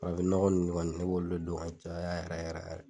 Farafn ɲɔgɔn nn kɔni ne b'olu de don k'a caya yɛrɛ yɛrɛ yɛrɛ